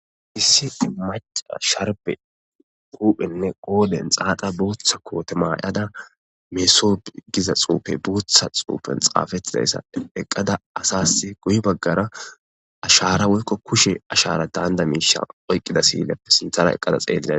hisiti maca sharbe uphenne qooden xaaqa buuththa kootemaayada meeso giza xuufe buutha xuufen xaafettidayssade eqqada asas guyi baggara ashara woykko kushe ashara daanda miishan oyqqida siilleppe sinthara eqqada xeelida